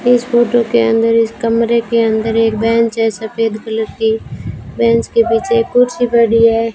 इस फोटो के अंदर इस कमरे के अंदर एक बेंच है सफेद कलर की बेंच के पीछे एक कुर्सी पड़ी है।